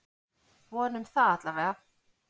Vonum það allavega!